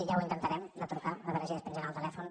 ja ho intentarem de trucar a veure si despengen el telèfon